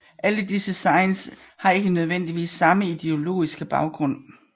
Alle disse zines har ikke nødvendigvis samme ideologiske baggrund